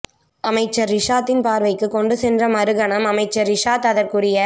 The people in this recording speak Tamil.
அமைச்சர் றிஷாதின் பார்வைக்கு கொண்டு சென்ற மறு கனம் அமைச்சர் றிஷாத் அதற்குரிய